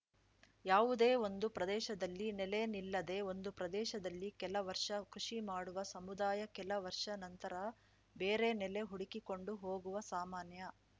ಯಾವುದೇ ಒಂದು ಪ್ರದೇಶದಲ್ಲಿ ನೆಲೆ ನಿಲ್ಲದೆ ಒಂದು ಪ್ರದೇಶದಲ್ಲಿ ಕೆಲ ವರ್ಷ ಕೃಷಿ ಮಾಡುವ ಸಮುದಾಯ ಕೆಲ ವರ್ಷಗಳ ನಂತರ ಬೇರೆ ನೆಲೆ ಹುಡುಕಿಕೊಂಡು ಹೋಗುವ ಸಾಮಾನ್ಯ